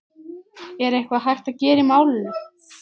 Er eitthvað hægt að gera í málinu?